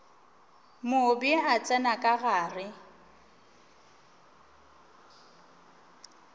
mobe a tsena ka gare